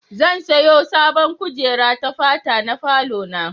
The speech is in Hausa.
Zan siyo sabon kujera ta fata na falo na.